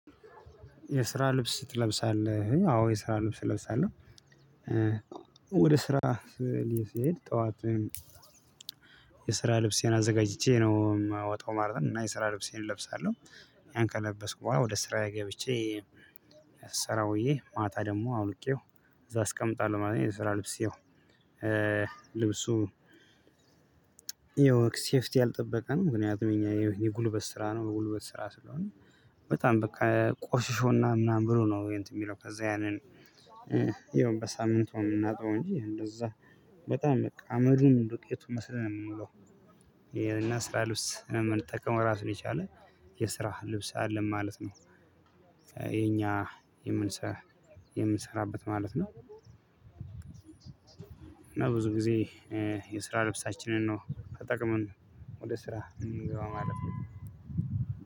የስራ ልብስ ትለብሳለህ አዎ የስራ ልብስ እለብሳለሁ። ወደ ስራ እኔ ስሄድ ጠዋት የስራ ልብሴን አዘጋጅቼ ነው የማወጣው ማለት ነው። እና የስራ ልብሴን እለብሳለሁ ያን ከለበስኩ በኋላ ወደ ስራዬ ገብቼ ስራውዬ ማታ ደግሞ አውልቄው እዛ አስቀምጣለሁ ማለት ነው። የስራ ልብስ ይኸው። ልብሱ ይኸው ሴፍቲ ያልጠበቀ ነው። ምክንያቱም የኛ የጉልበት ስራ ነው በጉልበት ስራ ስለሆነ በጣም በቃ ቆሽሾና ምናምን ብሎ ነው። የሚለው ከዛ ያንን። ይኸውም በሳምንቷ የምናጣው እንጂ እንደዛ በጣም በቃ አመዱን ዱቄቱን መሰለን ነው የምንውለው። ይሄን ስራ ልብስ የምንጠቀም ራሱን የቻለ የስራ ልብስ አለን ማለት ነው። የኛ የምንሰራ የምንሰራበት ማለት ነው። እና ብዙ ጊዜ የስራ ልብሳችንን ነው ተጠቅመን ወደ ስራ የምንገባው ማለት ነው።